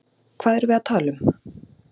Hvað erum við að tala um?